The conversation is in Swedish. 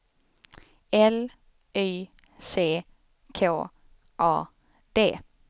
L Y C K A D